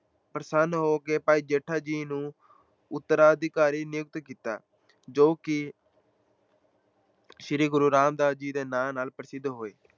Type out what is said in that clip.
ਪ੍ਰਸੰਨ ਹੋ ਕੇ ਭਾਈ ਜੇਠਾ ਜੀ ਨੂੰ ਉੱਤਰਾਧਿਕਾਰੀ ਨਿਯੁਕਤ ਕੀਤਾ, ਜੋ ਕਿ ਸ੍ਰੀ ਗੁਰੂ ਰਾਮਦਾਸ ਜੀ ਦੇ ਨਾਂ ਨਾਲ ਪ੍ਰਸਿੱਧ ਹੋਏ।